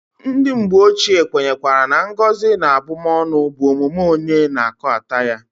Ndi mgbe ochie kwenyekwara na ngozi na abumonu bu omume onye na-akoata ya.